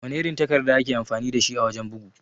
Wana irin takarda ake amfani dashi a wajan bugu?